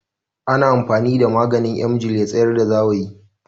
Ana amfani da maganin Emgil ya tsayar da zawayi